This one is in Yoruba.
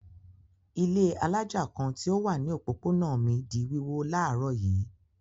Ilé alájà kan tí ó wà ní òpópónà mi di wíwó láàárọ̀ yìí.